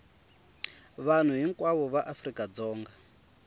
vanhu hinkwavo va afrika dzonga